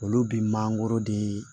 Olu bi mangoro de